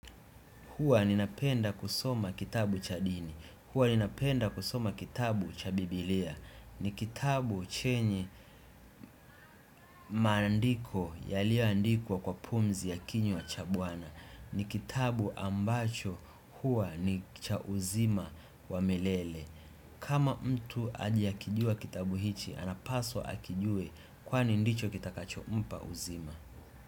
Hua ninapenda kusoma kitabu cha dini. Huwa ninapenda kusoma kitabu cha bibilia. Ni kitabu chenye maandiko yaliyoandikwa kwa pumzi ya kinywa cha bwana. Ni kitabu ambacho hua ni cha uzima wa milele. Kama mtu hajakijua kitabu hichi, anapaswa akijue kwani ndicho kitakachompa uzima.